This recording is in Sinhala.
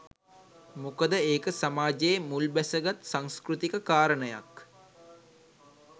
මොකද ඒක සමාජයේ මුල් බැසගත් සංස්කෘතික කාරණයක්